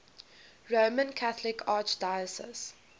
roman catholic archdiocese